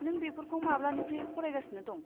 नों बेफोरखौ माब्लानिफ्राय फरायगासिनो दं?